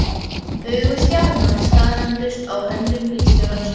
Augu Stjána staðnæmdust á höndum bílstjórans.